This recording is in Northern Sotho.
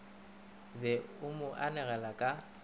be o mo anegele ka